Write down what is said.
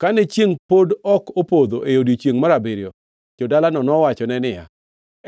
Kane chiengʼ pod ok opodho e odiechiengʼ mar abiriyo, jo-dalano nowachone niya,